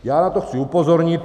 Já na to chci upozornit.